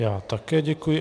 Já také děkuji.